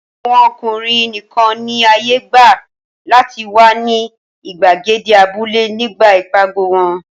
Àwọn ọkùnrin nìkan ni àyè gbà láti wà ní ìgbàgede abúlé nígbà ìpàgọ̀ wọn.